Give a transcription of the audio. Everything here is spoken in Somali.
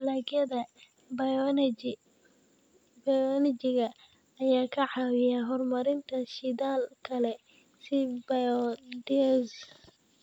Dalagyada bioenergy-ga ayaa ka caawiya horumarinta shidaal kale, sida biodiesel.